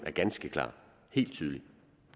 er ganske klar helt tydelig